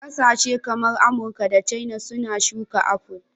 Kasashe kamar Amurka da Caina suna shuka apple